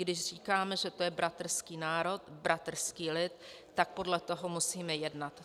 Když říkáme, že to je bratrský národ, bratrský lid, tak podle toho musíme jednat.